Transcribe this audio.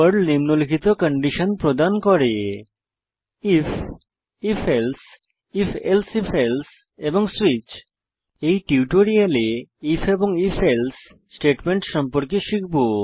Perl নিম্নলিখিত condition প্রদান করে if if else if elsif else এবং সুইচ এই টিউটোরিয়ালে আইএফ এবং if এলসে স্টেটমেন্ট সম্পর্কে শিখব